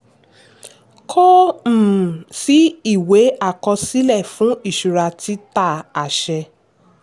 kò um sí ìwé àkọsílẹ̀ fún ìṣura títà àṣẹ.